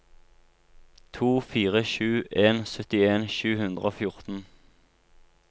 to fire sju en syttien sju hundre og fjorten